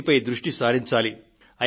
వీటిపై దృష్టి సారించాలి